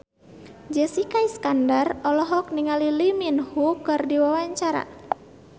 Jessica Iskandar olohok ningali Lee Min Ho keur diwawancara